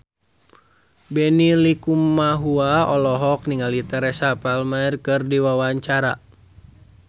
Benny Likumahua olohok ningali Teresa Palmer keur diwawancara